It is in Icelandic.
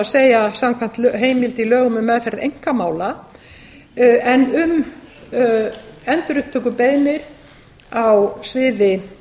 er samkvæmt heimild í lögum um meðferð einkamála en um endurupptökubeiðnir á sviði